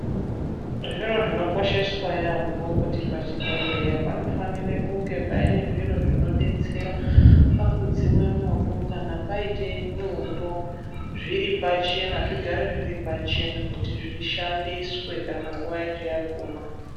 Zvinhu zvinokosheswa yaambo kuti pachibhedhlera panofanira kunge paine zviro zvinodetsera pakudzime mwoto kana paite mwoto zviripachena zvigare zviripachena kuti zvishandiswe kana nguva yacho yaguma.